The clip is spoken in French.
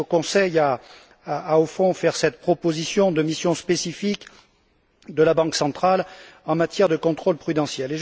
C'est au Conseil qu'il appartient de faire cette proposition de mission spécifique de la Banque centrale en matière de contrôle prudentiel.